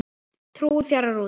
Trúin fjarar út